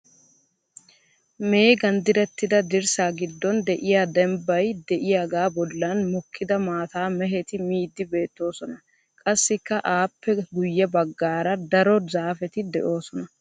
Meegan direttida dirssaa giddon de"iya dembbay de"iyaagaa bollan mokida maataa mehetti miiddi beettoosona. Qassikka aappe guyye baggaara daro zaafeti de'oosona.